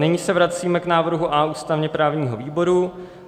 Nyní se vracíme k návrhu A ústavně-právního výboru.